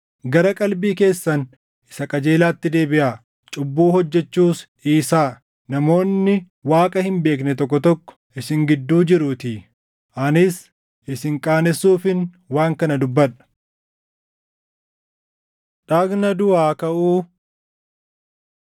Gara qalbii keessan isa qajeelaatti deebiʼaa; cubbuu hojjechuus dhiisaa; namoonni Waaqa hin beekne tokko tokko isin gidduu jiruutii. Anis isin qaanessuufin waan kana dubbadha. Dhagna Duʼaa Kaʼuu